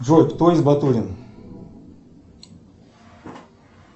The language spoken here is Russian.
джой кто из батурин